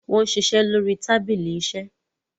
wón ṣiṣẹ lórí tábìlì iṣe.